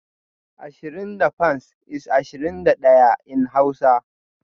Ashirin da fans is (ashirin da daya) in hausa